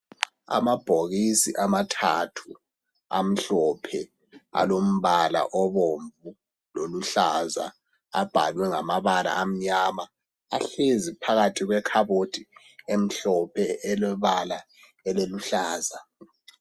Amabhokisi amathathu amhlophe alombala obomvu loluhlaza abhalwe ngamabala amnyama ahlezi phakathi kwekhabothi emhlophe elebala eliluhlaza.